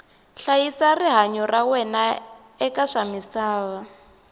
hlayisa rihanyu ra wena eka swa misava